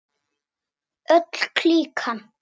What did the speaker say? Öll klíkan.